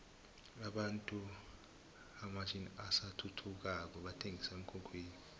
abantu hamatjninini asathuthukako bathenqisa emkhukhwini